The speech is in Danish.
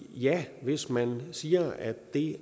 ja hvis man siger at det